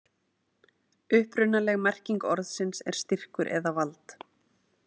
Upprunaleg merking orðsins er styrkur eða vald.